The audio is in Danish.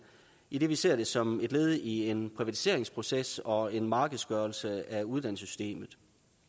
idet vi ser det som et led i en privatiseringsproces og en markedsgørelse af uddannelsessystemet